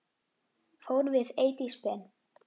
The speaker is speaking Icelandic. Fórum við Eydís Ben.